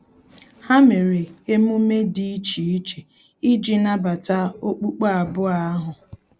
Ha mere emume dị iche iche iji nabata okpukpe abụọ ahu